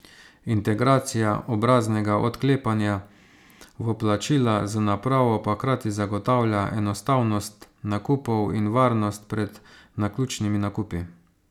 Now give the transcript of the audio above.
Integracija obraznega odklepanja v plačila z napravo pa hkrati zagotavlja enostavnost nakupov in varnost pred naključnimi nakupi.